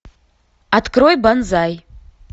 открой банзай